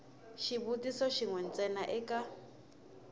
xivutiso xin we ntsena eka